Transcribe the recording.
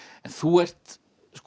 þú ert